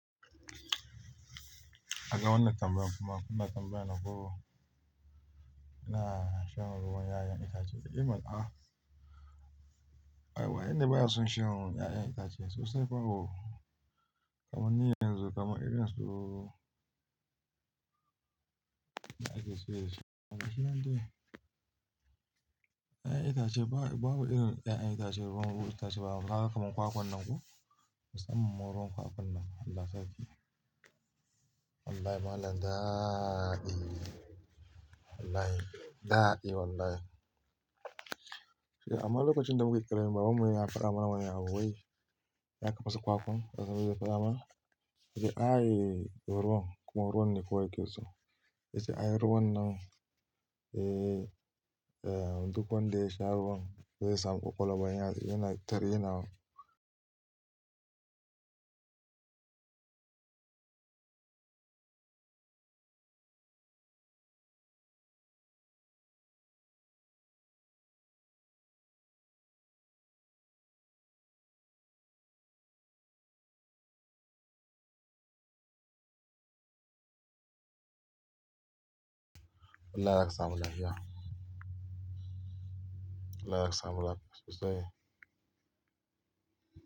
Ka ga wannan tambayan kuma kuna tambayana ko ina shan ruwan 'ya'yan itace. Eh mana a. Ah, wanne baya son shan ruwan 'ya'yan itace sosai fa ho. Kaman ni yanzu kaman irin su. Gashinan dai 'Ya'yan itace babu irin 'ya'yan itacen ruwan ruwa itace babu. Ka ga kaman kwakwan nan ko? Musamman ma ruwan kwakwan nan. Allah sarki. Allah ya magana daaadi. Allahai daaadi wallahi. Amma lokacin da muka yi karami baban mu yana fada mana wani abu wai. Za ka fasa kwakwan. Yana yiwa farama. Yace ai ruwan, kuma ruwan ne kawai yake so. Yace ai ruwan nan eh, eh duk wanda ya sha ruwan zai samu ƙwaƙwalwa yanar. Yana ta rainawa. Allah ya sakamu lafiya. Allah ya sakamu lafiya sosai.